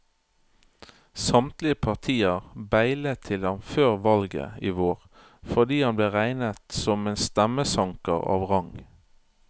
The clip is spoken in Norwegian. Samtlige partier beilet til ham før valget i vår fordi han ble regnet som en stemmesanker av rang.